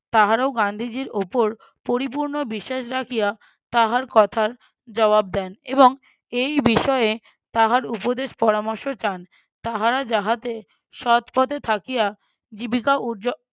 তাহারাও গান্ধীজীর ওপর পরিপূর্ণ বিশ্বাস রাখিয়া তাহার কথার জবাব দেন এবং এই বিষয়ে তাহার উপদেশ পরামর্শ চান তাহারা যাহাতে সৎ পথে থাকিয়া জীবিকা উর্জ~